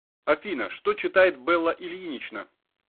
афина что читает белла ильинична